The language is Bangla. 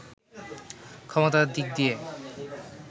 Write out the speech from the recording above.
ক্ষমতার দিক দিয়ে